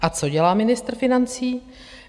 A co dělá ministr financí?